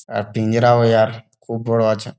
একটা পিঞ্জরাও ইয়ার খুব বড় আছে ।